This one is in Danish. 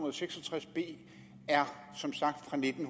og seks og tres b som sagt er fra nitten